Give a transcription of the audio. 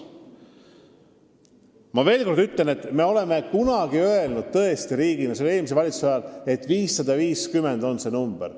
Ma veel kord ütlen, et me oleme kunagi riigina – see oli eelmise valitsuse ajal – öelnud, et võtame vastu 550 inimest.